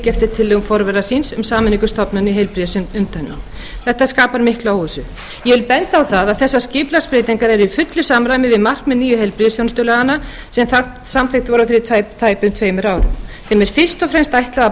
fylgja eftir tillögum forvera síns um sameiningu stofnana í heilbrigðisumdæmum það skapar mikla óvissu ég vil benda á að þessar skipulagsbreytingar eru í fullu samræmi við markmið nýju heilbrigðisþjónustulaganna sem samþykkt voru fyrir tæpum tveimur árum þeim er fyrst og fremst ætlað að